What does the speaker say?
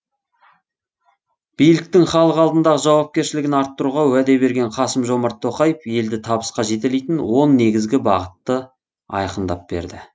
биліктің халық алдындағы жауапкершілігін арттыруға уәде берген қасым жомарт тоқаев елді табысқа жетелейтін он негізгі бағытты айқындап берді